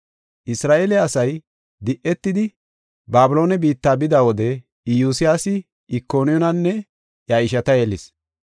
Isra7eele asay di7etidi Babiloone biitta bida wode Iyosiyaasi Ikoniyaananne iya ishata yelis.